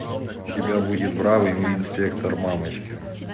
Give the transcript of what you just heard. у тебя будет бравый инспектор мамочкин